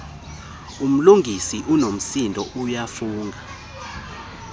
umlungisi unomsindo uyafunga